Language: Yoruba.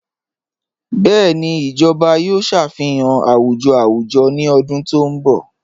Bẹẹni, ijọba yòò ṣáfíhàn àwùjọ̀ àwùjọ̀ ní ọ̀dún tó nbọ̀.